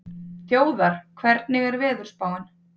Þjóðar, hvernig er veðurspáin?